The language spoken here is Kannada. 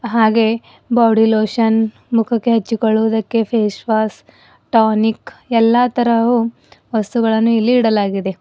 ಹಾಗೆ ಬಾಡಿ ಲೋಶನ್ ಮುಖಕ್ಕೆ ಹಚ್ಚಿಕೊಳ್ಳುವುದಕ್ಕೆ ಫೇಸ್ ವಾಷ್ ಟಾನಿಕ್ ಎಲ್ಲಾ ತರವು ವಸ್ತುಗಳನ್ನು ಇಲ್ಲಿ ಇಡಲಾಗಿದೆ.